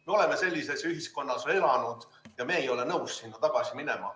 Me oleme sellises ühiskonnas elanud ja me ei ole nõus sinna tagasi minema.